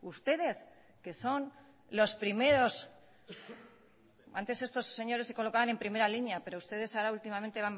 ustedes que son los primeros antes estos señores se colocaban en primera línea pero ustedes ahora últimamente